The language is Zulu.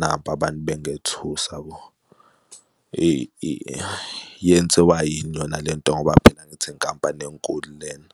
Naba abantu bengethusa bo, yenziwa yini yona le nto ngoba phela ngithi inkampani enkulu lena?